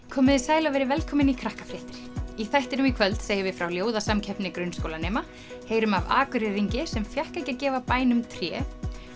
komiði sæl og verið velkomin í Krakkafréttir í þættinum í kvöld segjum við frá ljóðasamkeppni grunnskólanema heyrum af sem fékk ekki að gefa bænum tré